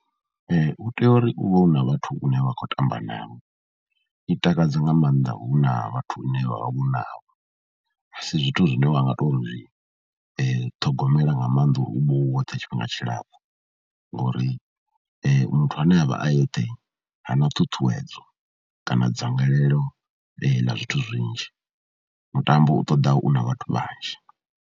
U tea uri u vhe u na vhathu vhane wa khou tamba navho, i takadza nga maanḓa hu na vhathu hune ha vha hu na, a si zwithu zwine wa nga tou zwi ṱhogomela nga maanḓa u vha u woṱhe tshifhinga tshilapfhu ngori muthu ane a vha a eṱhe ha na ṱhuṱhuwedzo kana dzangalelo ḽa zwithu zwinzhi, mutambo u ṱoḓa u na vhathu vhanzhi.